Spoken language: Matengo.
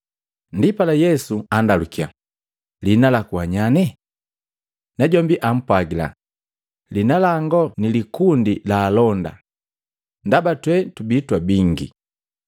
Ndipala, Yesu andalukiya, “Liina laku wa nyane?” Najombi ampwagila, “Liina langu ni likundi la alonda, ndaba twe tubii twabinge.”